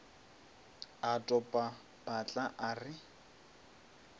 a topa patla a re